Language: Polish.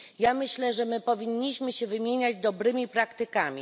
Ja myślę, że my powinniśmy się wymieniać dobrymi praktykami.